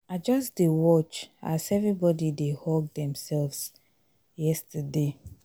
i just dey watch as everybody dey hug themselves yesterday